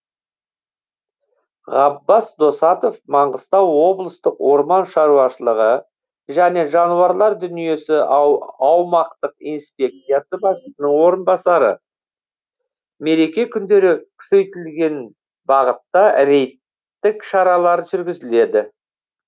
габбас досатов маңғыстау облыстық орман шаруашылығы және жануарлар дүниесі аумақтық инспекциясы басшысының орынбасары мереке күндері күшейтілген бағытта рейдтік шаралар жүргізілді